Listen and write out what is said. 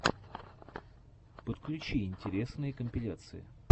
подключи интересные компиляции